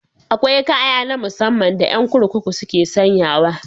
Akwai kaya na musamman da yan kurkuku suke sanyawa.